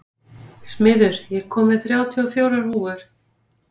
Smiður, ég kom með þrjátíu og fjórar húfur!